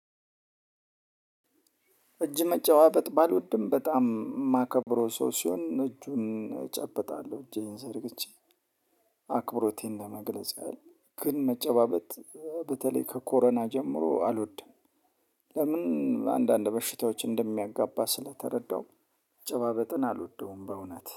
እጅ መጨባበጥ ባልወድም በጣም የማከብረው ሰው ሲሆን እጁን እጨብጣለሁ እጄን ዘርግቼ አክብሮቴን ለመግለጽ ያህል ግን መጨባበጥ በተለይ ከኮሮና ጀምሮ አልወድም። ለምን? አንዳንድ በሽታዎች እንደሚያጋባ ስለተረዳው መጨባበጥን አልወደውም በእውነት